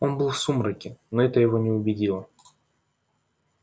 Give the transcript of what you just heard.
он был в сумраке но это его не убедило